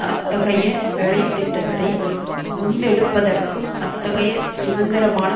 அத்தகைய வேலை திட்டத்தை முன்னெடுப்பதற்கும் அத்தகைய சுதந்திரமான